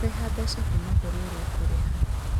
Kũrĩha mbeca kuuma kũrĩ ũrĩa ũgũrĩha